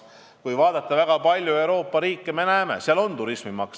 Kui vaadata väga paljusid Euroopa riike, siis me näeme, et seal on turismimaks.